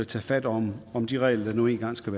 tage fat om om de regler der nu engang skal